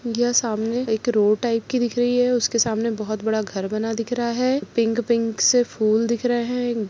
यह सामने एक रोड टाइप की दिख रही है उसके सामने बहोत बड़ा घर बना दिख रहा है पिंक पिंक से फूल दिख रहे है।